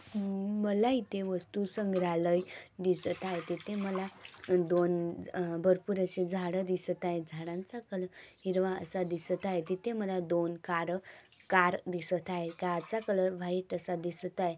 मला इथे वस्तु संग्रलाय दिसत आहे तिथे माला दोन भरपूर आशे झाड दिसत आहेत झाडांच कलर हिरवा आस दिसत आहे तिथे माला दोन कार कार दिसत आहे कार च कलर व्हाइट असा दिसत आहे.